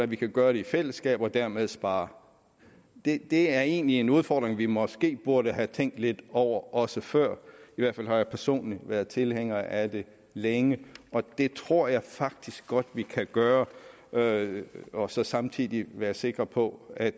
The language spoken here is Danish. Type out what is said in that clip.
vi kan gøre det i fællesskab og dermed spare det er egentlig en udfordring vi måske burde have tænkt lidt over også før i hvert fald har jeg personligt været tilhænger af det længe og det tror jeg faktisk godt at vi kan gøre og og så samtidig være sikre på at